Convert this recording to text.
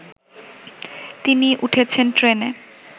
তিনি উঠেছেন ট্রেনে